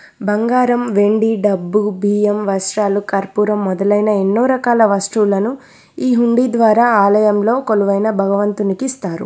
బంగారం వెండి డబ్బు బియ్యం వస్త్రాలు కర్పూరం మొదలైన ఎన్నో రకాల వస్తువులను ఈ హుండీ ద్వారా ఆలయంలో కొలువైన భగవంతునికిస్తారు.